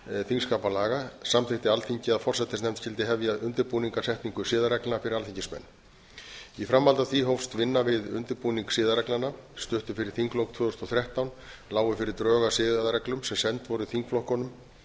þingskapalaga samþykkti alþingi að forsætisnefnd skyldi hefja undirbúning að setningu siðareglna fyrir alþingismenn í framhaldi af því hófst vinna við undirbúning siðareglnanna stuttu fyrir þinglok tvö þúsund og þrettán lágu fyrir drög að siðareglum sem send voru þingflokkunum